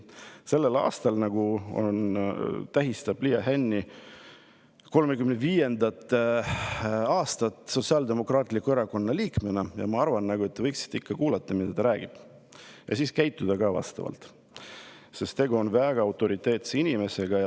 Sellel aastal tähistab Liia Hänni seda, et ta on 35 aastat olnud Sotsiaaldemokraatliku Erakonna liige, ja ma arvan, et te võiksite ikka kuulata, mida ta räägib, ja ka vastavalt käituda, sest tegu on väga autoriteetse inimesega.